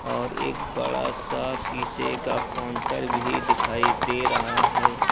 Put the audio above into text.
और एक बड़ा सा शीशे का कोंटर भी दिखाई दे रहा है।